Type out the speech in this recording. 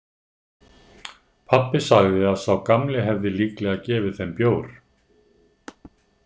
Pabbi sagði að sá gamli hefði líklega gefið þeim bjór.